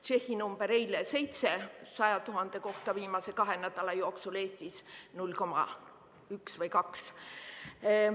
Tšehhi number oli eile 7 surnut 100 000 kohta viimase kahe nädala jooksul, Eestis 0,1 või 0,2.